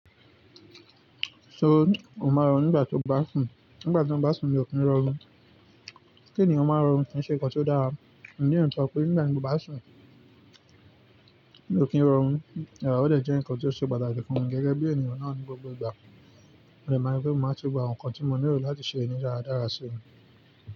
So, o ma rọ̀nu nígbà tó bá sùn? Nígbà tí mo bá sùn mi ò kí ń rọrùn. Kí ènìyàn máa rọrùn kì í ṣe nǹkan tí ó dára. Pé nígbà tí mo bá sùn mi ò kí ń rọrùn, ràrá ó dẹ̀ jẹ́ nǹkan tí ó ṣe pàtàkì fún mi gẹ́gẹ́ bí ènìyàn náà ní gbogbo ìgbà. Sẹ̀márí pé mo máa n se gbogbo àwọn nǹkan tí mo nílò láti ṣe nídará dára sí.